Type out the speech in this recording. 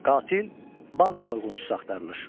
Qatil, bank soyğunçusu axtarılır.